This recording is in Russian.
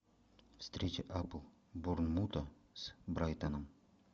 встреча апл борнмута с брайтоном